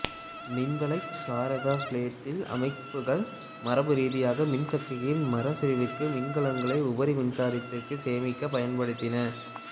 மின் வலைச் சாராத ஃபோட்டோவோல்டிக் அமைப்புகள் மரபுரீதியாக மின்சக்தியின் மறுசெறிவுக்கு மின்கலங்களை உபரி மின்சாரத்தை சேமிக்க பயன்படுத்தின